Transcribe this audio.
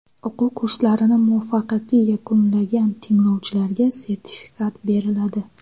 O‘quv kurslarini muvaffaqiyatli yakunlagan tinglovchilarga sertifikat beriladi.